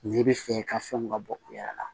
N'i bɛ fɛ i ka fɛnw ka bɔ u yɛrɛ la